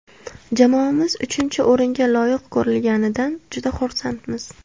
Jamoamiz uchinchi o‘ringa loyiq ko‘rilganidan juda xursandmiz.